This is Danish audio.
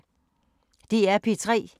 DR P3